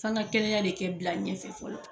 F'an ka kɛlɛya de kɛ bila ɲɛfɛ fɔlɔ